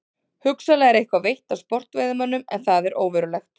Hugsanlega er eitthvað veitt af sportveiðimönnum en það er óverulegt.